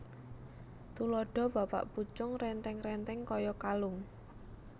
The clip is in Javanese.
Tuladha Bapak pucung rèntèng rèntèng kaya kalung